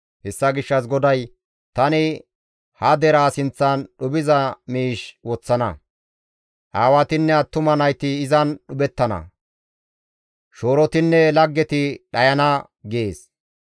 Hessa gishshas GODAY, «Tani ha deraa sinththan dhuphiza miish woththana; aawatinne attuma nayti izan dhuphettana; shoorotinne laggeti dhayana» gees.